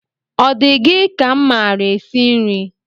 Ọ di gị ka m maara esi nri?